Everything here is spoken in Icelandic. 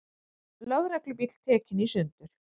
Lögreglubíll tekinn í sundur